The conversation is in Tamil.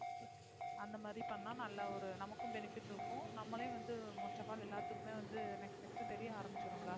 அந்த மாதிரி பண்ணா நல்லா ஒரு நமக்கும் benefit இருக்கும். நம்மளே வந்து first of all எல்லாத்துக்குமே வந்த next next தெரிய ஆரம்பிச்சுருவோம்ல.